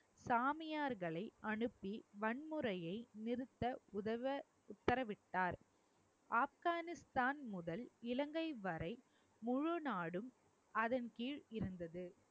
சாமியார்களை அனுப்பி வன்முறையை நிறுத்த உதவ உத்தரவிட்டார் ஆப்கானிஸ்தான் முதல் இலங்கை வரை முழு நாடும் அதன் கீழ் இருந்தது